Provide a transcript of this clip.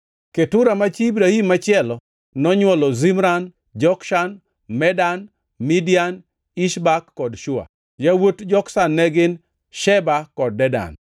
Ketura, ma chi Ibrahim machielo, nonywolo Zimran, Jokshan, Medan, Midian, Ishbak kod Shua. Yawuot Jokshan ne gin: Sheba kod Dedan.